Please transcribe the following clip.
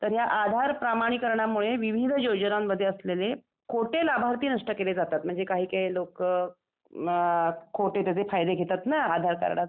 तर या आधार प्रामाणिकरणामुळे विविध योजनांमध्ये असलेले खोटे लाभार्थी नष्ट केले जातात म्हणजे काही काही लोकं खोट्याचे खूप फायदे घेतात न आधार कार्डाचे.